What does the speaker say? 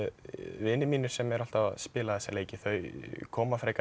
vinir mínir sem eru alltaf að spila þessa leiki þau koma frekar